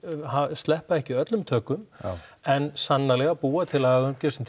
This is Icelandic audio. sleppa ekki öllum tökum en sannarlega að búa til lagaumgjörð sem